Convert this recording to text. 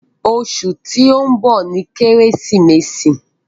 Ọṣù tí n bọ ní Keresimesi